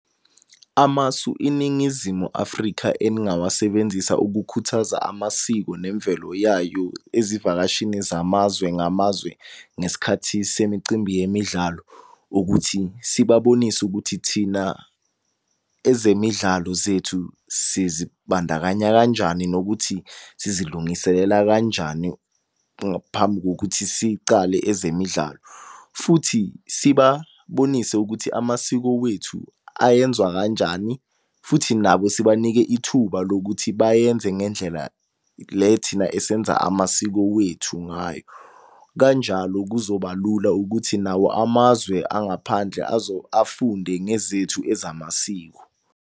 Amasu iNingizimu Afrika eningawasebenzisa ukukhuthaza amasiko nemvelo yayo ezivakashini zamazwe ngamazwe ngesikhathi semicimbi yemidlalo. Ukuthi sibabonise ukuthi thina ezemidlalo zethu sizibandakanya kanjani nokuthi sizilungiselela kanjani ngaphambi kokuthi sicale ezemidlalo. Futhi sibabonise ukuthi amasiko wethu ayenziwa kanjani, futhi nabo sibanike ithuba lokuthi bayenze ngendlela le thina esenza amasiko wethu ngayo. Kanjalo kuzoba lula ukuthi nawo amazwe angaphandle afunde ngezethu ezamasiko.